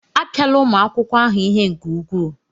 Apịala ụmụ akwụkwọ ahụ ihe nke ukwuu!